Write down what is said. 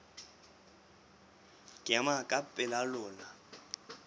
ke ema ka pela lona